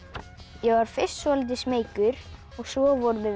ég var fyrst svolítið smeykur og svo vorum við